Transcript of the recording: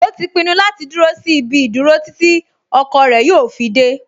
O ti pinnu láti dúró sí ibi ìdúró títí ọkọ rẹ̀ yóò fi dẹ́